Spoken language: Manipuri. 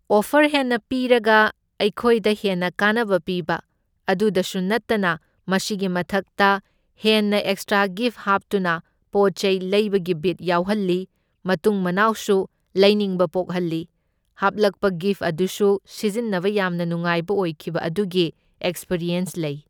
ꯑꯣꯐꯔ ꯍꯦꯟꯅ ꯄꯤꯔꯒ ꯑꯩꯈꯣꯏꯗ ꯍꯦꯟꯅ ꯀꯥꯟꯅꯕ ꯄꯤꯕ, ꯑꯗꯨꯗꯁꯨ ꯅꯇꯅ ꯃꯁꯤꯒꯤ ꯃꯊꯛꯇ ꯍꯦꯟꯅ ꯑꯦꯛꯁꯇ꯭ꯔꯥ ꯒꯤꯐ ꯍꯥꯞꯇꯨꯅ ꯄꯣꯠ ꯆꯩ ꯂꯩꯕꯒꯤ ꯕꯤꯠ ꯌꯥꯎꯍꯟꯂꯤ, ꯃꯇꯨꯡ ꯃꯅꯥꯎꯁꯨ ꯂꯩꯅꯤꯡꯕ ꯄꯣꯛꯍꯟꯂꯤ, ꯍꯥꯞꯂꯛꯄ ꯒꯤꯐ ꯑꯗꯨꯁꯨ ꯁꯤꯖꯟꯅꯕ ꯌꯥꯝꯅ ꯅꯨꯡꯉꯥꯏꯕ ꯑꯣꯏꯈꯤꯕ ꯑꯗꯨꯒꯤ ꯑꯦꯛꯁꯄꯤꯔꯤꯌꯦꯟꯁ ꯂꯩ꯫